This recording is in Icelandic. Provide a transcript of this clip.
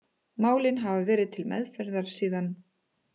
Málin hafa verið til meðferðar síðan